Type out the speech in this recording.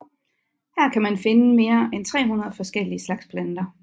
Her kan man finde mere end 300 forskellige slags planter